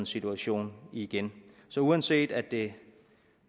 situation igen så uanset at det